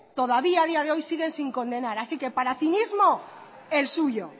todavía ha día de hoy siguen sin condenar así que para cinismo el suyo